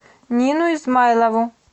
нину измайлову